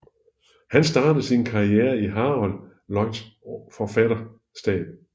Han startede sin karriere i Harold Lloyds forfatterstab